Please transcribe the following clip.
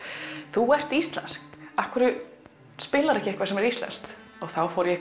þú ert íslensk af hverju spilarður ekki eitthvað sem er íslenskt þá fór ég